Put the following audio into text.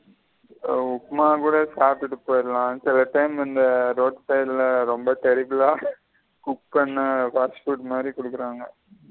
உப்புமா கூட சாப்டுட்டு போயிறலா சில time இந்த road side ல ரெம்ப cook பண்ண fast food மாதிரி குடுக்குறாங்க.